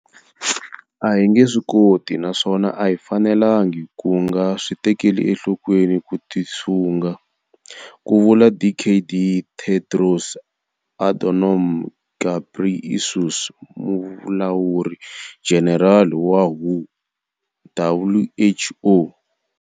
A hi nge swi koti naswona a hi fanelangi ku nga swi tekeli enhlokweni ku tisunga, ku vula Dkd Tedros Adhanom Ghebrey esus, Mulawuri-Jenerali wa WHO.